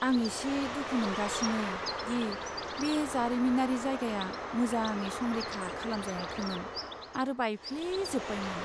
आं एसे दुखु मोनगासिनो दि बे जारिमिनारि जायगाया मोजाङै संरैखा खालामजायाखैमोन आरो बायफ्लेजोब्बायमोन।